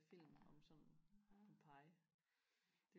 film om sådan Pompeji